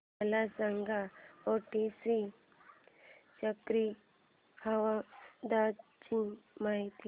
मला सांगा ओडिशा च्या चक्रीवादळाची माहिती